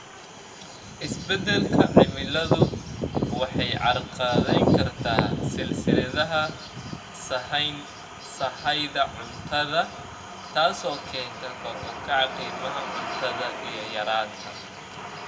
Isbeddelka cimiladu waxay carqaladayn kartaa silsiladaha sahayda cuntada, taasoo keenta kor u kaca qiimaha cuntada iyo yaraanta.